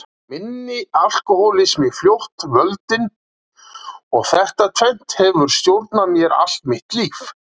Minn alkohólismi fljótt völdin og þetta tvennt hefur stjórnað mér allt mitt líf.